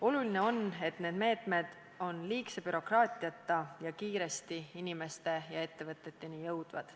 Oluline on, et need meetmed ilma liigse bürokraatiata ja kiiresti inimeste ja ettevõteteni jõuaksid.